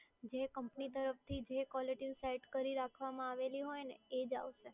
જે કંપની તરફથી જે કોલરટયુન સેટ કરી રાખવામાં આવેલી હોય ને એ જ આવશે.